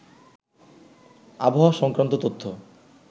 আবহাওয়া সংক্রান্ত তথ্য